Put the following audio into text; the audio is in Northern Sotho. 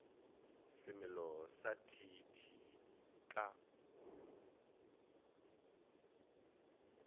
semelo sa t t ka